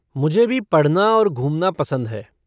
मुझे भी पढ़ना और घूमना पसंद है।